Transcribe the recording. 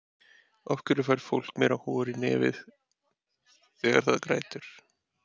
af hverju fær fólk meira hor í nefið þegar það grætur